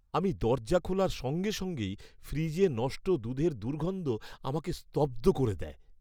আমি দরজা খোলার সঙ্গে সঙ্গেই ফ্রিজে নষ্ট দুধের দুর্গন্ধ আমাকে স্তব্ধ করে দেয়।